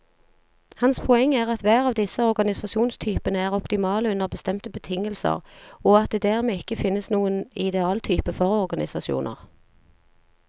Hans poeng er at hver av disse organisasjonstypene er optimale under bestemte betingelser, og at det dermed ikke finnes noen idealtype for organisasjoner.